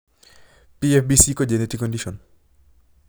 PFBC ko genetic condition